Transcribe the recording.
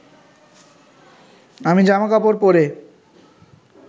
আমি জামা কাপড় পরে